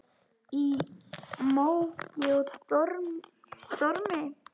Í móki og dormi.